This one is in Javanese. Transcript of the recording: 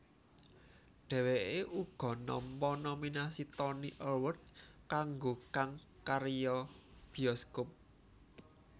Dhèwèké uga nampa nominasi Tony Award kanggo kang karya bioskop